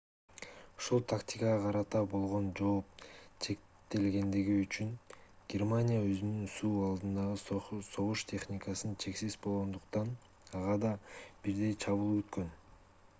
ушул тактикага карата болгон жооп чектелгендиги үчүн германия өзүнүн суу алдындагы согуш техникасы чексиз болгондуктан ага да бирдей чабуул күткөн